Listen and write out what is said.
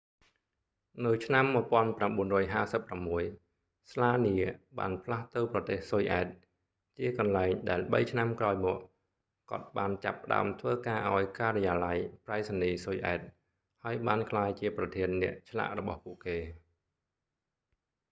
នៅឆ្នាំ 1956 ស្លានៀ slania បានផ្លាស់ទៅប្រទេសស៊ុយអែត ជាកន្លែងដែលបីឆ្នាំក្រោយមក គាត់បានចាប់ផ្តើមធ្វើការឱ្យការិយាល័យប្រៃសណីយ៍ស៊ុយអែត ហើយបានក្លាយជាប្រធានអ្នកឆ្លាក់របស់ពួកគេ